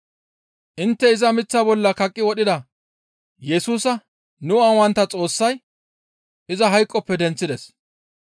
«Intte iza miththa bolla kaqqi wodhida Yesusa nu aawantta Xoossay iza hayqoppe denththides.